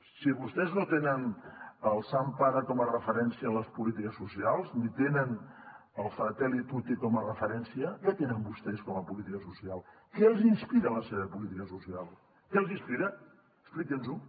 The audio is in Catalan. si vostès no tenen el sant pare com a referència en les polítiques socials ni tenen el fratelli tutti com a referència què tenen vostès com a política social què els inspira la seva política social què els inspira expliqui’ns ho